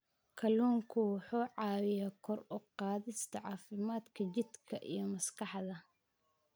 Kalluunku wuxuu caawiyaa kor u qaadista caafimaadka jidhka iyo maskaxda.